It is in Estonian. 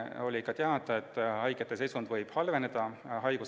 Oli teada, et haigete seisund võib haiguse käigus halveneda.